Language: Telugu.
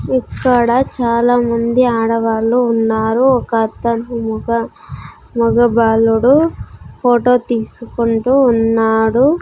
ఇక్కడ చాలామంది ఆడవాళ్ళు ఉన్నారు ఒక అతను మొగ మొగ బాలుడు ఫోటో తీసుకుంటూ ఉన్నాడు.